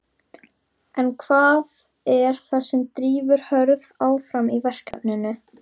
En hvað er það sem drífur Hörð áfram í verkefninu?